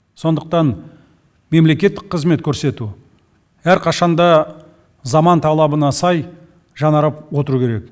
сондықтан мемлекеттік қызмет көрсету әрқашан да заман талабына сай жаңарып отыру керек